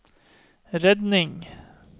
redning